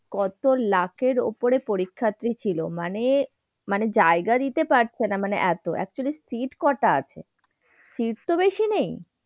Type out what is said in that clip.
কত লাখের উপরে পরীক্ষার্থী ছিল মানে, মানে জায়গা দিতে পারছে না মানে এত। actually seat কটা আছে? seat তো বেশি নেই।